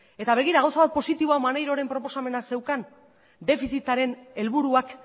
eta begira gauza bat positiboa maneiroren proposamena zeukan defizitaren helburuak